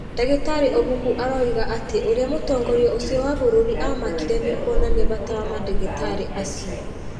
Ndagĩtarĩ Obuku aroiga atĩ ũrĩa mũtongoria ũcio wa bũrũri aamakire nĩ kuonania bata wa mandagĩtarĩ acio.